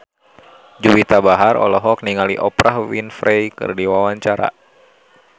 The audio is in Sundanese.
Juwita Bahar olohok ningali Oprah Winfrey keur diwawancara